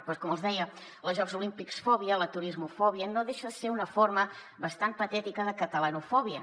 doncs com els deia la jocs olímpics fòbia la turismofòbia no deixen de ser una forma bastant patètica de catalanofòbia